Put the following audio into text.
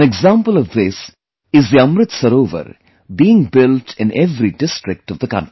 An example of this is the 'AmritSarovar' being built in every district of the country